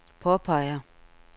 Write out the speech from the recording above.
påpeger